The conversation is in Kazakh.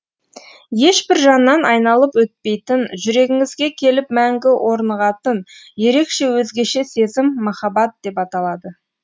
ешбір жаннан айналып өтпейтін жүрегіңізге келіп мәңгі орнығатын ерекше өзгеше сезім махаббат деп аталады